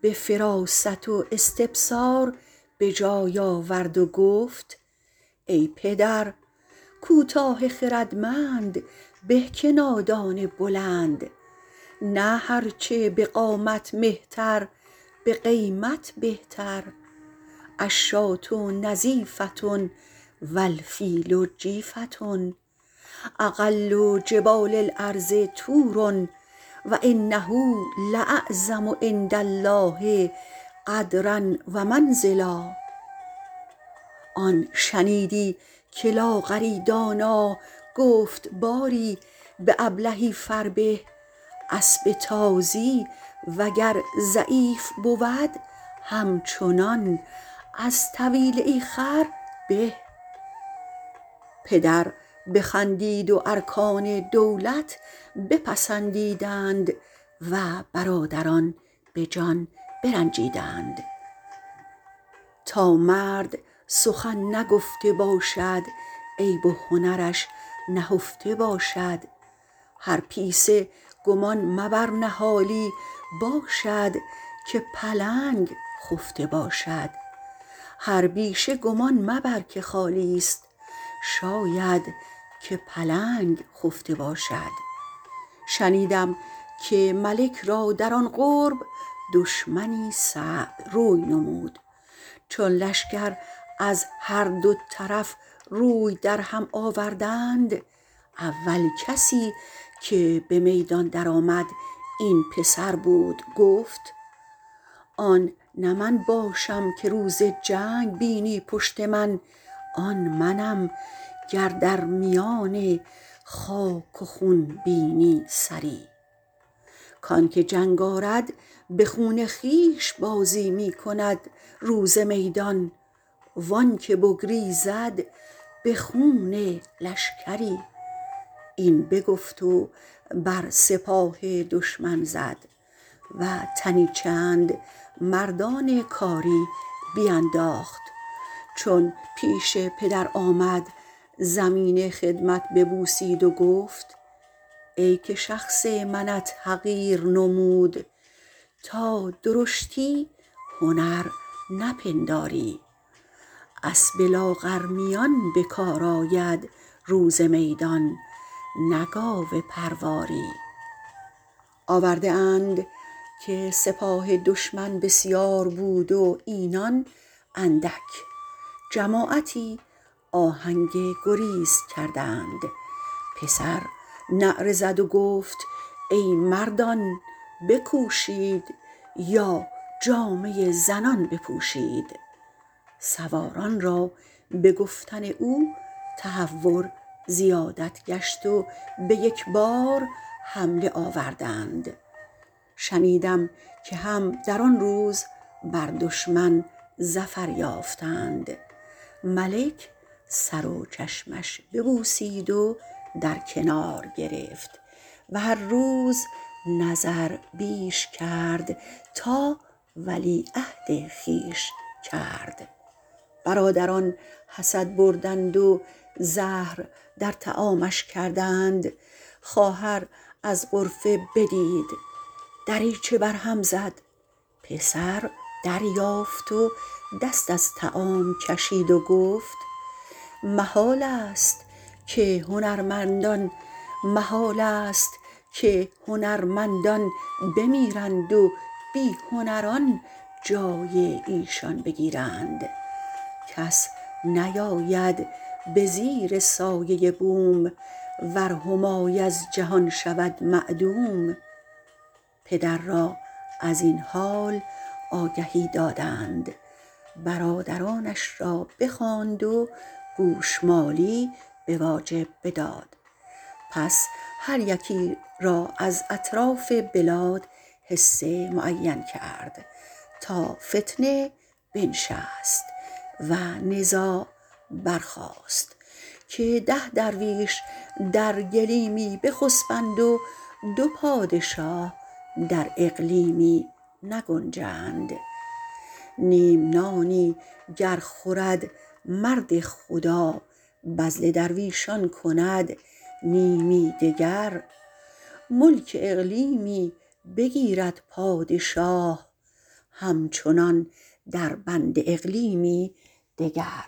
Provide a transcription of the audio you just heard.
به فراست و استبصار به جای آورد و گفت ای پدر کوتاه خردمند به که نادان بلند نه هر چه به قامت مهتر به قیمت بهتر الشاة نظیفة و الفیل جیفة اقل جبال الارض طور و انه لاعظم عندالله قدرا و منزلا آن شنیدی که لاغری دانا گفت باری به ابلهی فربه اسب تازی وگر ضعیف بود همچنان از طویله ای خر به پدر بخندید و ارکان دولت پسندیدند و برادران به جان برنجیدند تا مرد سخن نگفته باشد عیب و هنرش نهفته باشد هر پیسه گمان مبر نهالی باشد که پلنگ خفته باشد شنیدم که ملک را در آن قرب دشمنی صعب روی نمود چون لشکر از هر دو طرف روی در هم آوردند اول کسی که به میدان در آمد این پسر بود گفت آن نه من باشم که روز جنگ بینی پشت من آن منم گر در میان خاک و خون بینی سری کانکه جنگ آرد به خون خویش بازی می کند روز میدان و آن که بگریزد به خون لشکری این بگفت و بر سپاه دشمن زد و تنی چند مردان کاری بینداخت چون پیش پدر آمد زمین خدمت ببوسید و گفت ای که شخص منت حقیر نمود تا درشتی هنر نپنداری اسب لاغرمیان به کار آید روز میدان نه گاو پرواری آورده اند که سپاه دشمن بسیار بود و اینان اندک جماعتی آهنگ گریز کردند پسر نعره زد و گفت ای مردان بکوشید یا جامه زنان بپوشید سواران را به گفتن او تهور زیادت گشت و به یک بار حمله آوردند شنیدم که هم در آن روز بر دشمن ظفر یافتند ملک سر و چشمش ببوسید و در کنار گرفت و هر روز نظر بیش کرد تا ولیعهد خویش کرد برادران حسد بردند و زهر در طعامش کردند خواهر از غرفه بدید دریچه بر هم زد پسر دریافت و دست از طعام کشید و گفت محالست که هنرمندان بمیرند و بی هنران جای ایشان بگیرند کس نیاید به زیر سایه بوم ور همای از جهان شود معدوم پدر را از این حال آگهی دادند برادرانش را بخواند و گوشمالی به واجب بداد پس هر یکی را از اطراف بلاد حصه معین کرد تا فتنه بنشست و نزاع برخاست که ده درویش در گلیمی بخسبند و دو پادشاه در اقلیمی نگنجند نیم نانی گر خورد مرد خدا بذل درویشان کند نیمی دگر ملک اقلیمی بگیرد پادشاه همچنان در بند اقلیمی دگر